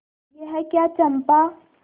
यह क्या चंपा